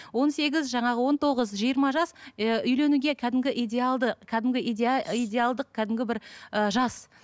он сегіз жаңағы он тоғыз жиырма жас і үйленуге кәдімгі идеалды кәдімгі идеалдық кәдімгі бір ы жас